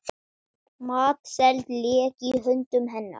Matseld lék í höndum hennar.